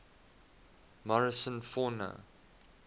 morrison fauna